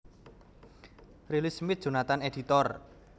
Riley Smith Jonathan editor